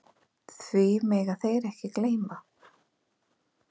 Því mega þeir ekki gleyma.